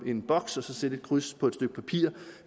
en boks og sætte et kryds på et stykke papir